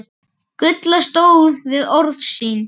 Gulla stóð við orð sín.